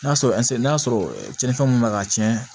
N'a sɔrɔ n'a sɔrɔ cɛninfɛn mun bɛ ka cɛn